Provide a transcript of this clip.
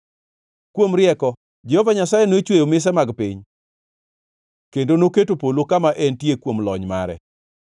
Kuom rieko Jehova Nyasaye nochweyo mise mar piny kendo noketo polo kama entie kuom lony mare;